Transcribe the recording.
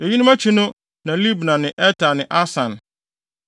Eyinom akyi no na Libna ne Eter ne Asan,